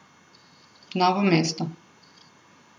Novo mesto.